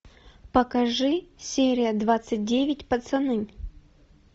покажи серия двадцать девять пацаны